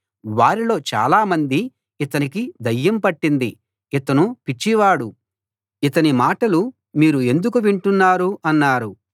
వారిలో చాలా మంది ఇతనికి దయ్యం పట్టింది ఇతను పిచ్చివాడు ఇతని మాటలు మీరు ఎందుకు వింటున్నారు అన్నారు